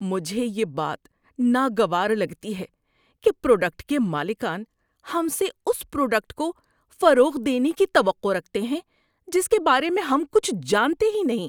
مجھے یہ بات ناگوار لگتی ہے کہ پروڈکٹ کے مالکان ہم سے اس پروڈکٹ کو فروغ دینے کی توقع رکھتے ہیں جس کے بارے میں ہم کچھ نہیں جانتے۔